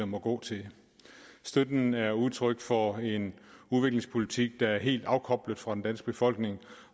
må gå til støtten er udtryk for en udviklingspolitik der er helt afkoblet fra den danske befolkning